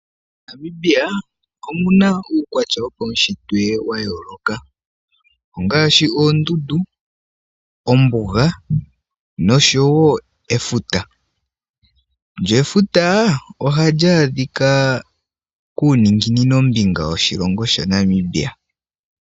MoNamibia omuna uukwatya wopaushitwe wayoloka ongaashi oondundu, ombuga nosho wo efuta lyo efuta ohali adhika kuuninginino mbinga woshilongo shaNamibia.